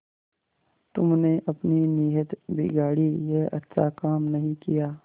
तुमने अपनी नीयत बिगाड़ी यह अच्छा काम नहीं किया